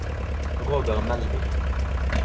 Roger Melby